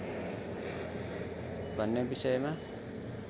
भन्ने विषयमा